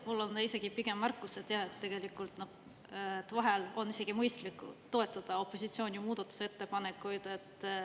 Mul on isegi pigem märkus, et vahel on isegi mõistlik toetada opositsiooni muudatusettepanekuid.